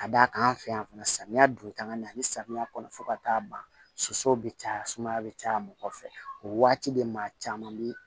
Ka d'a kan an fɛ yan fana samiya don tanga nin ani samiya kɔnɔ fo ka taa ban soso bɛ caya sumaya bɛ caya mɔgɔ fɛ o waati de maa caman bɛ